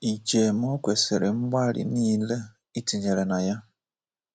I chee ma o kwesịrị mgbalị nile ị tinyere na ya.